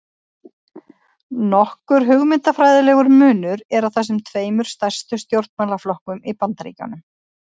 Nokkur hugmyndafræðilegur munur er á þessum tveimur stærstu stjórnmálaflokkum í Bandaríkjunum.